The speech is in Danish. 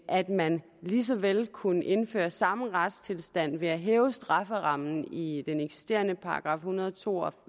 at man lige så vel ville kunne indføre samme retstilstand ved at hæve strafferammen i i den eksisterende § en hundrede og to og